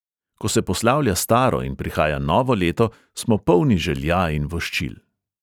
Ko se poslavlja staro in prihaja novo leto, smo polni želja in voščil.